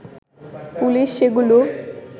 police সেগুলো